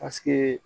Paseke